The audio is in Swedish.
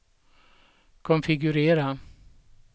konfigurera